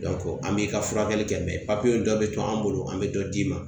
an b'i ka furakɛli kɛ papiye dɔ bɛ to an bolo an bɛ dɔ d'i ma